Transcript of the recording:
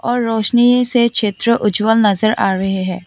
और रोशनी से क्षेत्र उज्जवल नजर आ रहे हैं।